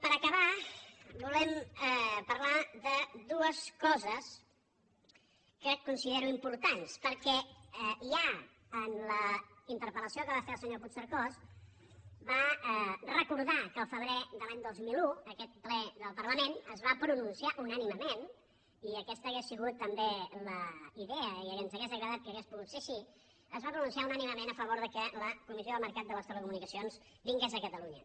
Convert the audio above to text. per acabar volem parlar de dues coses que considero importants perquè ja en la interpel·lació que va fer el senyor puigcercós va recordar que el febrer de l’any dos mil un aquest ple del parlament es va pronunciar unànimement i aquesta hauria sigut també la idea i ens hauria agradat que hagués pogut ser així es va pronunciar unànimement a favor que la comissió del mercat de les telecomunicacions vingués a catalunya